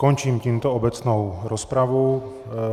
Končím tímto obecnou rozpravu.